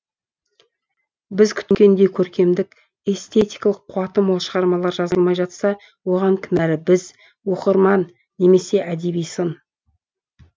біз күткендей көркемдік эстетикалық қуаты мол шығармалар жазылмай жатса оған кінәлі біз оқырман немесе әдеби сын